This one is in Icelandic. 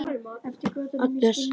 Um kvöldið lítur Agnes inn.